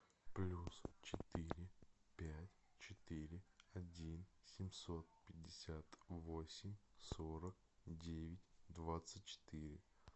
плюс четыре пять четыре один семьсот пятьдесят восемь сорок девять двадцать четыре